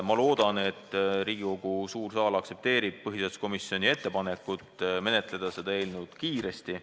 Ma loodan, et Riigikogu suur saal aktsepteerib põhiseaduskomisjoni ettepanekut menetleda seda eelnõu kiiresti.